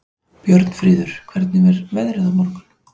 Björnfríður, hvernig er veðrið á morgun?